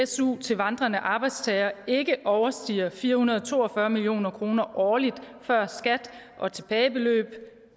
su til vandrende arbejdstagere ikke overstiger fire hundrede og to og fyrre million kroner årligt før skat og tilbageløb